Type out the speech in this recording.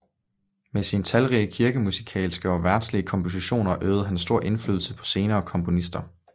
Med sine talrige kirkemusikalske og verdslige kompositioner øvede han stor indflydelse på senere komponister